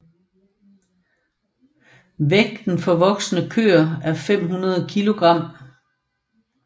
Vægten for voksne køer er 500 kilogram